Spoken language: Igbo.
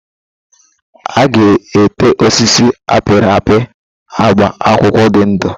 A ga ete osisi a pịrị apị agba akwụkwọ ndụ.